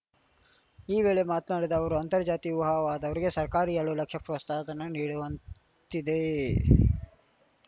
ಈ ವೇಳೆ ಮಾತನಾಡಿದ ಅವರುಅಂತರ್ಜಾತಿ ವಿವಾಹವಾದವರಿಗೆ ಸರ್ಕಾರ ಎರಡು ಲಕ್ಷ ಪ್ರೋಸ್ತಾಹಧನ ನೀಡುವಂತ್ತಿದೆ